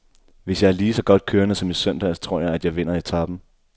Hvis jeg er ligeså godt kørende som i søndags, tror jeg, at jeg vinder etapen.